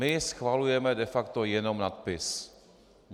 My schvalujeme de facto jenom nadpis.